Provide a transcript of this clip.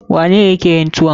Waye ne ya ke yin tuwon?